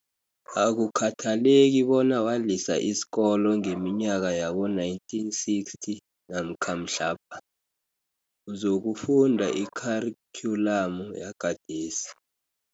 Akukhathaleki bona walisa isikolo ngeminyaka yabo-1960 namkha mhlapha, uzokufunda ikharikhyulamu yagadesi.